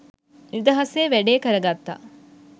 නිදහසේ වැඩේ කරගත්තා.